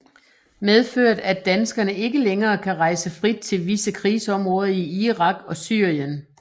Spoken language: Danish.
Medført at danskere ikke længere kan rejse frit til visse krigsområder i Irak og Syrien